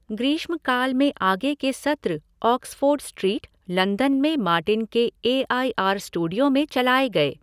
ग्रीष्मकाल में आगे के सत्र ऑक्सफ़ोर्ड स्ट्रीट, लंदन में मार्टिन के ए आई आर स्टूडियो में चलाए गए।